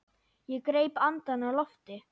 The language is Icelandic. Ég greip andann á lofti.